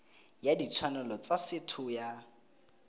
ya ditshwanelo tsa setho ya